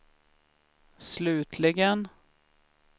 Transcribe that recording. slutligen